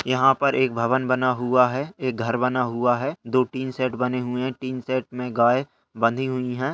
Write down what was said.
यहाँ पर एक भवन बना हुआ है एक घर बना हुआ है दो टिन शेड बने हुए हैं टिन शेड में गाय बंधी हुई हैं।